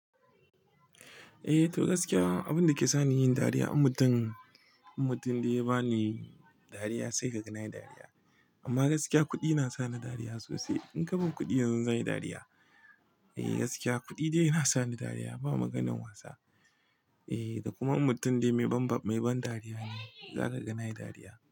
Eh to gaskiya abinda ke sani yin dariya in mutum, in mutum dai ya bani dariya sai ka gane na yi dariya. Amma gaskiya kuɗi na sa ni dariya sosai. In ka bani kuɗi yanzu zanyi dariya. Ehh gaskiya kuɗi ne yana sani dariya ba maganan wasa. Ehh da kuma mutum dai mai ban dariya ne za ka gane na yi dariya.